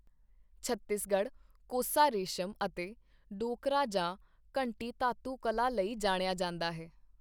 ਛੱਤੀਸਗੜ੍ਹ 'ਕੋਸਾ ਰੇਸ਼ਮ' ਅਤੇ 'ਡੋਕਰਾ ਜਾਂ ਘੰਟੀ ਧਾਤੂ ਕਲਾ' ਲਈ ਜਾਣਿਆ ਜਾਂਦਾ ਹੈ।